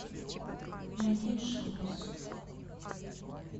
найди джиос